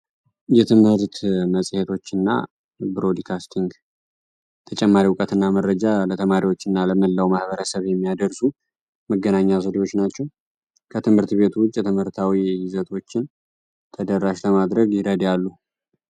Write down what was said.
የትምህርት መፅሄቶችንና ብሮድካስቲንግ ተጨማሪ እውቀትና መረጃ ለተማሪዎችና ለመላው ማህበረሰብ የሚያደርሱ መገናኛ ዘዴዎች ናቸው። ከትምህርት ቤቱ ውጭ ትምህርታዊ ይዘቶችን ተደራሽ ለማድረግ ይረዳሉ።